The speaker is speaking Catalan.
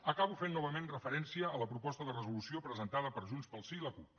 acabo fent novament referència a la proposta de resolució presentada per junts pel sí i la cup